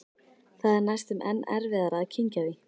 Það er næstum enn erfiðara að kyngja því.